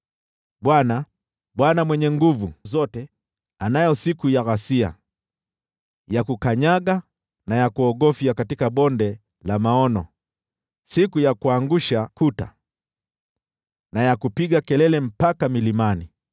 Bwana, Bwana Mwenye Nguvu Zote, anayo siku ya ghasia, ya kukanyaga, na ya kuogofya katika Bonde la Maono, siku ya kuangusha kuta na ya kupiga kelele mpaka milimani.